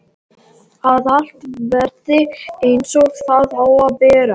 Að allt verði einsog það á að vera.